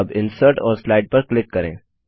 अब इंसर्ट और स्लाइड पर क्लिक करें